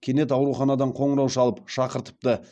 кенет ауруханадан қоңырау шалып шақыртыпты